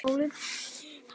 Hann er búinn að fara víða.